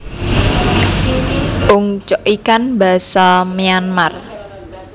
Ungcoikan basa Myanmar